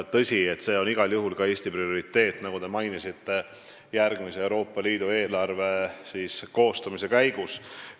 Tõsi, see on igal juhul ka Eesti prioriteet, nagu te mainisite, järgmise Euroopa Liidu eelarve koostamise käigus.